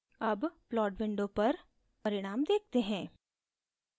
अब plot window पर परिणाम देखते हैं